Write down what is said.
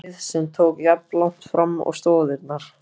á hæð, sem tók jafnlangt fram og stoðirnar.